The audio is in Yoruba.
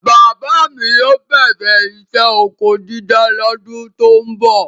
Bàbá mi yóó bẹ̀rẹ isẹ́ ọkọ dídá lọ́dún tó ń bọ̀.